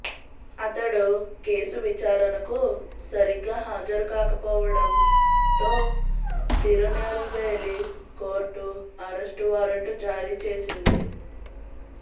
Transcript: అతడు కేసు విచారణకు సరిగ్గా హాజరుకాకపోవడంతో తిరునెల్వేలి కోర్టు అరెస్టు వారెంటు జారీ చేసింది